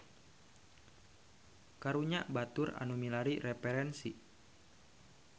Karunya batur nu milari referensi.